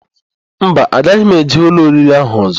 Mba, agaghị m eje ụlọ oriri ahụ ọ̀zọ́.